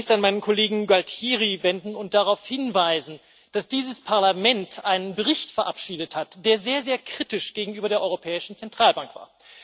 Ich möchte mich zunächst an meinen Kollegen Gualtieri wenden und darauf hinweisen, dass dieses Parlament einen Bericht verabschiedet hat, der sehr, sehr kritisch gegenüber der Europäischen Zentralbank war.